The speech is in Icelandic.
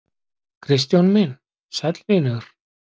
Kristján minn, sæll vinur.